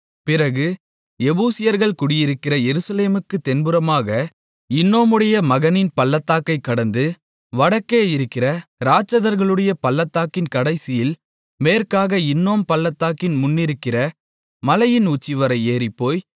பிறகு எபூசியர்கள் குடியிருக்கிற எருசலேமுக்குத் தென்புறமாக இன்னோமுடைய மகனின் பள்ளத்தாக்கைக் கடந்து வடக்கே இருக்கிற இராட்சதர்களுடைய பள்ளத்தாக்கின் கடைசியில் மேற்காக இன்னோம் பள்ளத்தாக்கின் முன்னிருக்கிற மலையின் உச்சிவரை ஏறிப்போய்